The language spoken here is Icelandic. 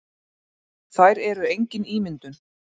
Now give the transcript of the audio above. Þær eru engin ímyndun.